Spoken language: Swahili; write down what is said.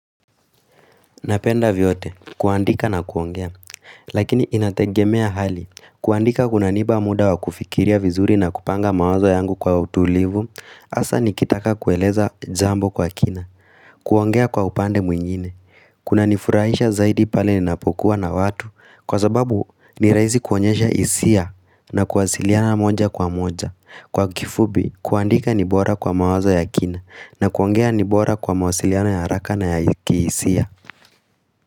Napenda vyote, kuandika na kuongea, lakini inategemea hali, kuandika kunaniiba muda wa kufikiria vizuri na kupanga mawazo yangu kwa utulivu, asa nikitaka kueleza jambo kwa kina, kuongea kwa upande mwingine, kunanifurahisha zaidi pale ninapokuwa na watu, kwa sababu ni rahisi kuonyesha hisia na kuwasiliana moja kwa moja, kwa kifupi kuandika ni bora kwa mawazo ya kina, na kuongea ni bora kwa mawasiliano ya haraka na ya kihisia.